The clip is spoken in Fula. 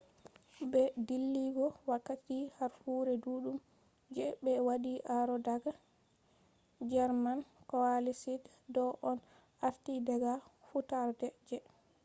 be dilligo wakkati harfure dudum je be wadi aro daga german coalesced. do on arti daga fudarde je enlightenment